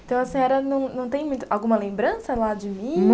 Então a senhora não não tem alguma lembrança lá de